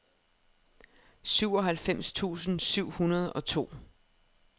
syvoghalvfems tusind syv hundrede og to